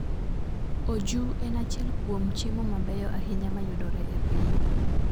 Oju en achiel kuom chiemo mabeyo ahinya ma yudore e piny.